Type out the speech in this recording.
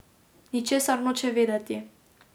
Ničesar noče vedeti.